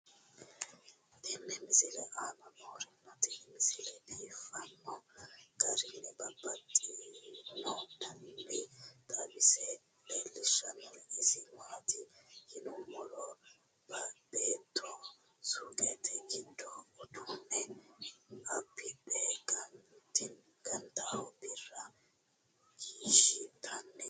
tenne misile aana noorina tini misile biiffanno garinni babaxxinno daniinni xawisse leelishanori isi maati yinummoro beetto suuqqette giddo uduune abidhe ganttoha birra kiishitanni afanttanno